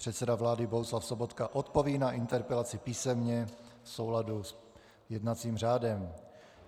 Předseda vlády Bohuslav Sobotka odpoví na interpelaci písemně v souladu s jednacím řádem.